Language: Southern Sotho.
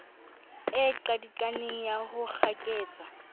e qadikaneng ya ho kgaketsa